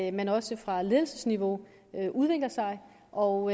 at man også fra ledelsesniveau udvikler sig og